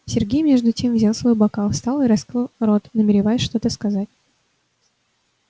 сергей между тем взял свой бокал встал и раскрыл рот намереваясь что-то сказать